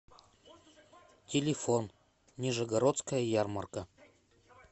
телефон нижегородская ярмарка